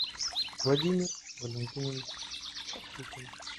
владимир валентинович чахутин